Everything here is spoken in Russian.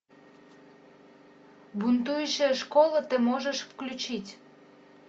бунтующая школа ты можешь включить